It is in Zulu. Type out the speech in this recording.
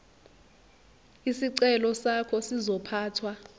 isicelo sakho sizophathwa